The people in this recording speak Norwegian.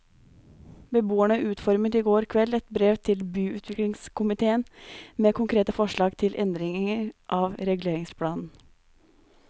Beboerne utformet i går kveld et brev til byutviklingskomitéen med konkrete forslag til endringer av reguleringsplanen.